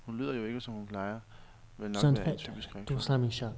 Hun lyder jo ikke som hun plejer, vil nok være en typisk reaktion.